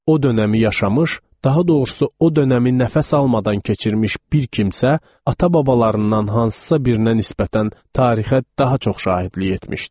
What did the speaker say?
O dönəmi yaşamış, daha doğrusu o dönəmi nəfəs almadan keçirmiş bir kimsə, ata-babalarından hansısa birinə nisbətən tarixə daha çox şahidlik etmişdi.